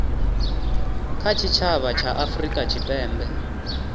kha tshitshavha tsha afurika tshipembe